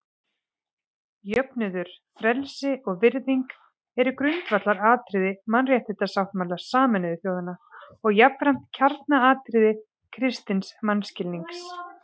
Jöfnuður, frelsi og virðing eru grundvallaratriði Mannréttindasáttmála Sameinuðu þjóðanna og jafnframt kjarnaatriði kristins mannskilnings.